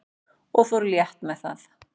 og fór létt með það.